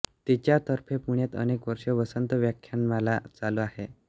तिच्यातर्फे पुण्यात अनेक वर्षे वसंत व्याख्यानमाला चालू आहे